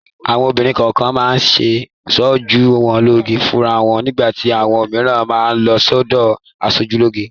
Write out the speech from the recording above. Àwọn obìnrin kọ̀ọ̀kan máa ń ṣoojú wọn lóge fúnra wọn. Nígbà tí àwọn mìíràn má a lọ sọ́dọ̀ aṣojúlóge.